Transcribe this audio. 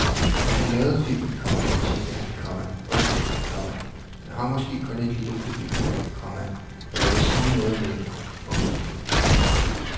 Da han lavede filmen, komma tænkte han, komma okay, komma den har måske kun et lille publikum, komma men jeg vil sige noget med den. punktum